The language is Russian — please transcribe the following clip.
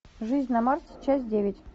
жизнь на марсе часть девять